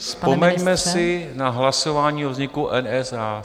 Vzpomeňme si na hlasování o vzniku NSA.